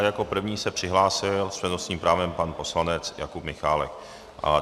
A jako první se přihlásil s přednostním právem pan poslanec Jakub Michálek.